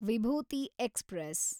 Vibhuti express